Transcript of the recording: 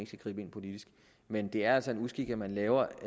skal gribe ind politisk men det er altså en uskik at man laver